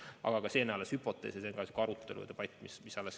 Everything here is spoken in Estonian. Aga see on hüpotees, selle üle käib alles arutelu ja debatt.